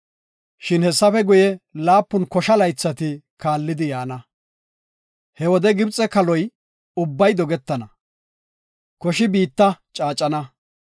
Shin hessafe guye, laapun kosha laythati kaallidi yaana. He wode Gibxe kaaloy ubbay dogetana, koshi biitta caacana.